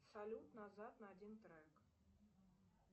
салют назад на один трек